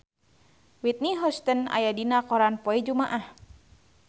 Whitney Houston aya dina koran poe Jumaah